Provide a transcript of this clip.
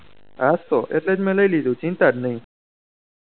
હાસ તો એટલે જ મેં લઇ લીધું ચિંતા નહી